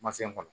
Ma se kɔnɔ